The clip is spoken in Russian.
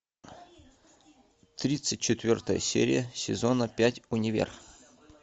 тридцать четвертая серия сезона пять универ